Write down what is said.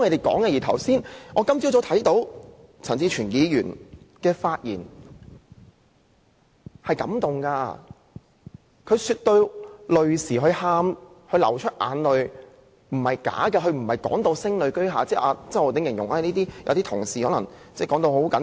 今天早上，我聽到陳志全議員的發言，甚為感動，他說到流淚，那不是假的，但他並非聲淚俱下，並非如周浩鼎議員形容有些同事表現誇張。